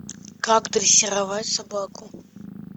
как дрессировать собаку